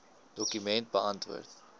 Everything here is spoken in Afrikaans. dokument beantwoord